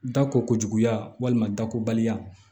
Da ko kojuguya walima dakoba